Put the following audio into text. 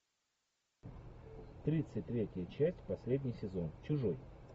тридцать третья часть последний сезон чужой